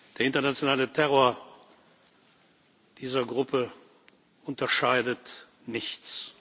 Der internationale Terror dieser Gruppe unterscheidet nichts.